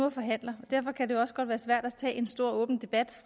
og forhandler og derfor kan det også godt være svært at tage en stor åben debat